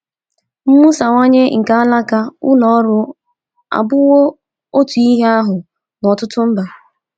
Mwusawanye nke alaka ụlọ ọrụ abụwo otu ihe ahụ n’ọtụtụ mba.